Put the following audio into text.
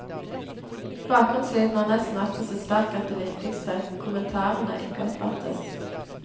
Bakgrunnslyden er nesten alltid så sterk at det viktigste, kommentarene, ikke oppfattes.